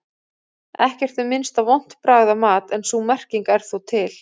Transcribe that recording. Ekkert er minnst á vont bragð af mat en sú merking er þó til.